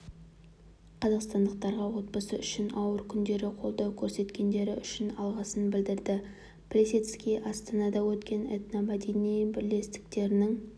қазақстандықтарға отбасы үшін ауыр күндері қолдау көрсеткендері үшін алғысын білдірді плисецкий астанада өткен этномәдени бірлестіктерінің